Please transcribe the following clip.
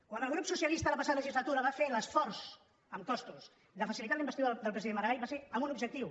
quan el grup socialista la passada legislatura va fer l’esforç amb costos de facilitar la investidura del president mas va ser amb un objectiu